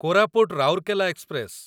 Koraput Rourkela express